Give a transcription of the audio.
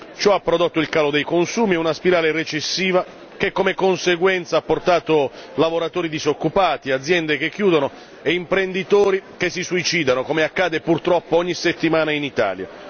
Ciò ha prodotto il calo dei consumi e una spirale recessiva che come conseguenza ha portato lavoratori disoccupati, aziende che chiudono e imprenditori che si suicidano come accade purtroppo ogni settimana in Italia.